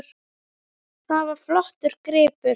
Það var flottur gripur.